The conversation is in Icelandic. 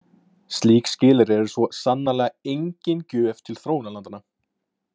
Slík skilyrði eru svo sannarlega engin gjöf til þróunarlandanna.